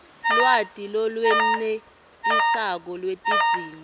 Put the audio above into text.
lwati lolwenetisako lwetidzingo